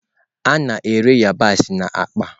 A na-ere yabasị na akpa.